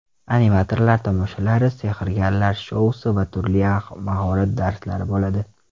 Animatorlar tomoshalari, sehrgarlar shousi va turli mahorat darslari bo‘ladi.